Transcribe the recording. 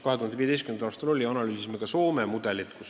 2015. aastal me analüüsisime ka Soome mudelit.